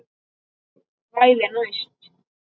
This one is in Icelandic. Kvæðin næst?